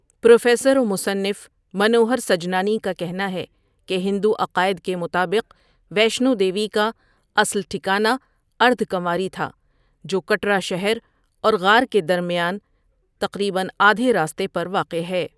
Professor و مصنف منوہر سجنانی کا کہنا ہے کہ ہندو عقائد کے مطابق ویشنو دیوی کا اصل ٹھکانہ اردھ کنواری تھا، جو کٹرا شہر اور غار کے درمیان تقریباً آدھے راستے پر واقع ہے۔